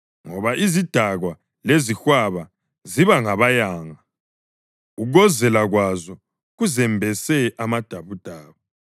ngoba izidakwa lezihwaba ziba ngabayanga, ukuwozela kwazo kuzembese amadabudabu.